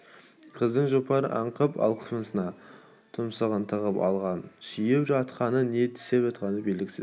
қыздың жұпары аңқыған алқымына тұмсығын тығып алған сүйіп жатқаны не тістеп жатқаны белгісіз